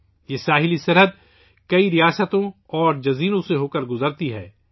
یہ ساحلی سرحد کئی ریاستوں اور جزیروں سے گزرتی ہے